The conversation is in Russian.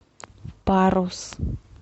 парус